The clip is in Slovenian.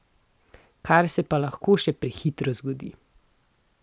Kar se pa lahko še prehitro zgodi.